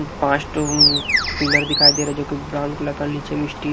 पाँच टो um pillar दिखाई दे रहा है जोकि ब्राउन कलर का नीचे में स्टील --